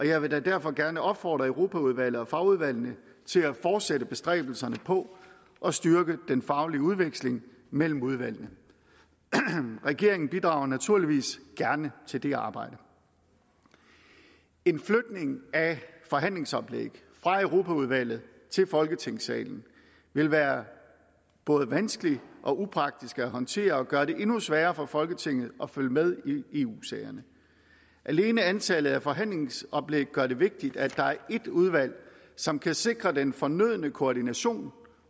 jeg vil da derfor gerne opfordre europaudvalget og fagudvalgene til at fortsætte bestræbelserne på at styrke den faglige udveksling mellem udvalgene regeringen bidrager naturligvis gerne til det arbejde en flytning af forhandlingsoplæg fra europaudvalget til folketingssalen vil være både vanskelig og upraktisk at håndtere og vil gøre det endnu sværere for folketinget at følge med i eu sagerne alene antallet af forhandlingsoplæg gør det vigtigt at der er et udvalg som kan sikre den fornødne koordination